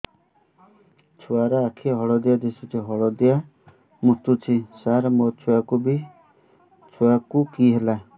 ଛୁଆ ର ଆଖି ହଳଦିଆ ଦିଶୁଛି ହଳଦିଆ ମୁତୁଛି ସାର ମୋ ଛୁଆକୁ କି ହେଲା